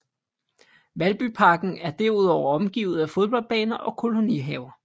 Valbyparken er derudover omgivet af fodboldbaner og kolonihaver